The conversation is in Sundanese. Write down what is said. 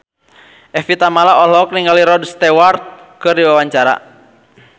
Evie Tamala olohok ningali Rod Stewart keur diwawancara